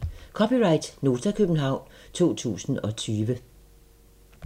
(c) Nota, København 2020